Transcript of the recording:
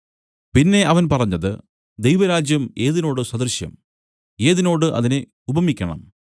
പിന്നെ അവൻ പറഞ്ഞത് ദൈവരാജ്യം ഏതിനോട് സദൃശം ഏതിനോട് അതിനെ ഉപമിക്കണം